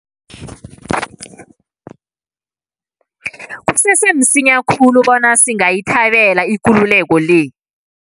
Kusese msinya khulu bona singayithabela ikululeko le.